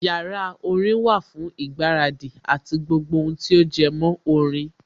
Yàrá orin wà fún ìgbáradì àti gbogbo ohun tí ó jẹmọ́ orin